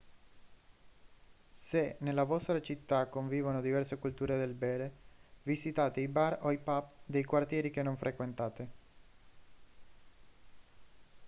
se nella vostra città convivono diverse culture del bere visitate i bar o i pub dei quartieri che non frequentate